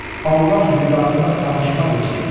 Allah rizasına danışmaz heç kim.